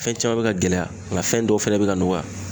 Fɛn caman bɛ ka gɛlɛya nka fɛn dɔw fɛnɛ bɛ ka nɔgɔya